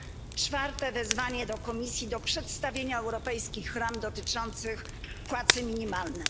Po czwarte wezwanie Komisji do przedstawienia europejskich ram dotyczących płacy minimalnej.